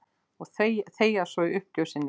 Og þegja svo í uppgjöf sinni.